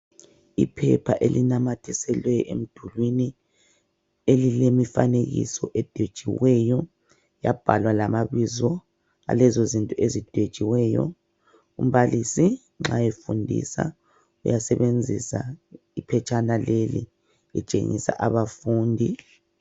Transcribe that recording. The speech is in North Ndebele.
Iphepha elinamathiselwe emdulini elilemifanekiso edwetshiweyo yabhalwa lamabizo alezozinto ezidwetshiweyo. Umbalisi nxa efundisa uyasebenzisa iphetshana leli etshengisa abafundi.